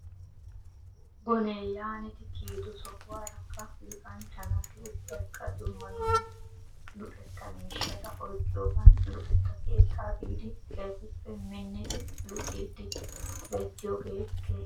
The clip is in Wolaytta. Bonee yaanidi kiyido sohuwaarakka luxanchcha naati ubbaykka dumma dumma luxetta miishshata oyqqiyoogan luxetta keettaa biidi keehippe minnidi luxiiddi beettyoogee keehippe lo'es.